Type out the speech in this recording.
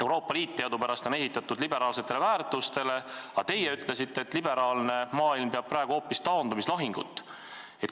Euroopa Liit on teadupärast üles ehitatud liberaalsetele väärtustele, aga teie ütlesite, et liberaalne maailm peab praegu hoopis taandumislahinguid.